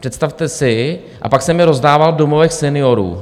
Představte si, a pak jsem je rozdával v domovech seniorů.